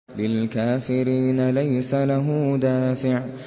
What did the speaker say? لِّلْكَافِرِينَ لَيْسَ لَهُ دَافِعٌ